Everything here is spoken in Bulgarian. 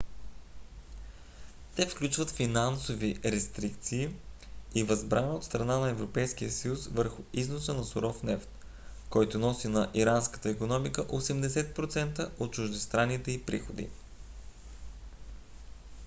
те включват финансови рестрикции и възбрана от страна на европейския съюз върху износа на суров нефт който носи на иранската икономика 80% от чуждестранните ѝ приходи